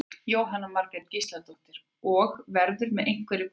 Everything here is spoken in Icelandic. Jóhanna Margrét Gísladóttir: Og, verður með einhverju breyttu sniði opnað á morgun?